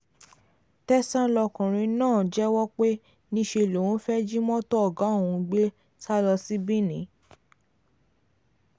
tẹsán lọkùnrin náà ti jẹ́wọ́ pé níṣẹ́ lòun fẹ́ẹ́ jí mọ́tò ọ̀gá òun gbé sá lọ sí benin